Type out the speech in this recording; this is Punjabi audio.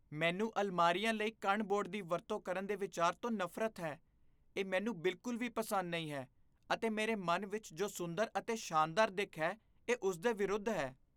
ਮੈਨੂੰ ਅਲਮਾਰੀਆਂ ਲਈ ਕਣ ਬੋਰਡ ਦੀ ਵਰਤੋਂ ਕਰਨ ਦੇ ਵਿਚਾਰ ਤੋਂ ਨਫ਼ਰਤ ਹੈ। ਇਹ ਮੈਨੂੰ ਬਿਲਕੁਲ ਵੀ ਪਸੰਦ ਨਹੀਂ ਹੈ ਅਤੇ ਮੇਰੇ ਮਨ ਵਿੱਚ ਜੋ ਸੁੰਦਰ ਅਤੇ ਸ਼ਾਨਦਾਰ ਦਿੱਖ ਹੈ ਇਹ ਉਸ ਦੇ ਵਿਰੁੱਧ ਹੈ।